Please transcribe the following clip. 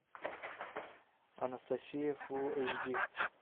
анастасия фул эйч ди